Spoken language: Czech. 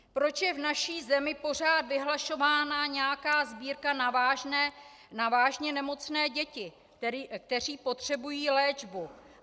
Proč je v naší zemi pořád vyhlašována nějaká sbírka na vážně nemocné děti, které potřebují léčbu?